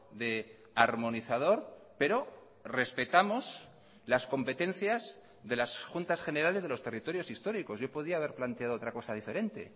de armonizador pero respetamos las competencias de las juntas generales de los territorios históricos yo podía haber planteado otra cosa diferente